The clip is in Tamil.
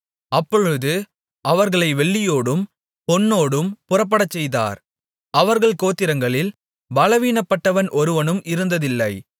அப்பொழுது அவர்களை வெள்ளியோடும் பொன்னோடும் புறப்படச்செய்தார் அவர்கள் கோத்திரங்களில் பலவீனப்பட்டவன் ஒருவனும் இருந்ததில்லை